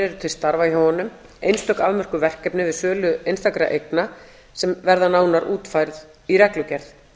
eru til starfa hjá honum einstök afmörkuð verkefni við sölu einstakra eigna sem verða nánar útfærð í reglugerð